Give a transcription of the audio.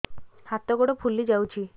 ହାତ ଗୋଡ଼ ଫୁଲି ଯାଉଛି